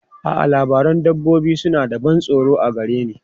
A'a, labarun dabbobi suna da ban tsoro a gare ni.